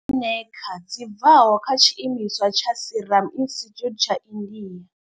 Eneca dzi bvaho kha tshiimiswa tsha Serum Institute tsha India.